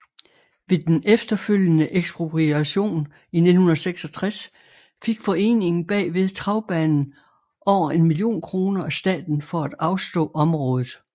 Ved den efterfølgende ekspropriation i 1966 fik foreningen bagved travbanen over en million kroner af staten for at afstå området